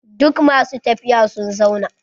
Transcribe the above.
Duk masu tafiya sun zauna.